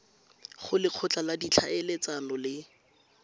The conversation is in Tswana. go lekgotla la ditlhaeletsano le